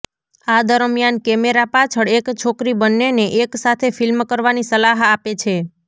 આ દરમિયાન કેમેરા પાછળ એક છોકરી બન્નેને એક સાથે ફિલ્મ કરવાની સલાહ આપે છે